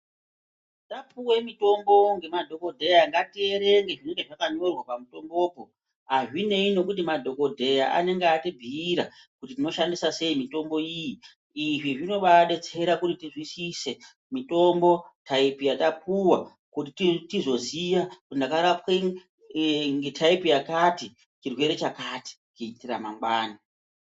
Tapuve mutombo ngemadhogodheya ngatierenge zvinonga zvakanyorwa pamutombopo. Hazvinei ngekuti madhogodheya anenge ati bhuira kuti munoshandisa sei mitombo iyi. Izvi zvinobabetsera kuti tizwisise mitombo taipi yatapuva kuti tizoziya kuti ndakarapwe ngetaipi yakati chirwere chakati kuitira mangwani.